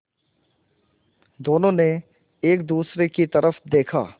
दोनों ने एक दूसरे की तरफ़ देखा